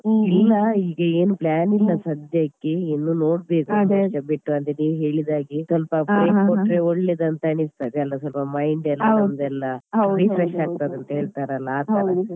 ಹ ನಂದು ಇಲ್ಲ ಈಗ ಏನು plan ಇಲ್ಲ ಸದ್ಯಕ್ಕೆ ಇನ್ನು ನೋಡ್ಬೇಕು ಬಿಟ್ಟು ನೀವ್ ಹೇಳಿದಾಗೆ ಸ್ವಲ್ಪ break ಕೊಟ್ಟ್ರೆ ಒಳ್ಳೇದು ಅಂತ ಅನಿಸ್ತದೆ ಅಲ ಸ್ವಲ್ಪ mind ಎಲ್ಲ ನಂದೆಲ್ಲ refresh ಆಗ್ತಾದೆ ಅಂತ ಹೇಳ್ತಾರೆ ಅಲ ಆತರ.